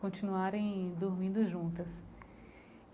continuarem dormindo juntas.